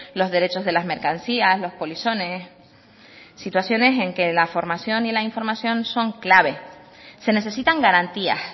los derechos de las mercancías los polizones situaciones en que la formación y la información son clave se necesitan garantías